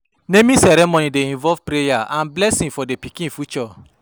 Naming ceremony dey involve prayer and blessing for di pikin future.